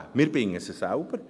Wir binden sie selber.